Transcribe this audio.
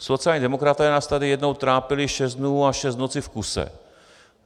Sociální demokraté nás tady jednou trápili šest dnů a šest nocí v kuse.